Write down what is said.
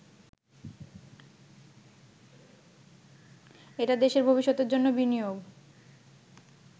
এটা দেশের ভবিষ্যতের জন্য বিনিয়োগ